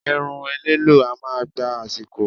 Irun ẹlẹ́lọ̀ọ́ a máa gba àsìkò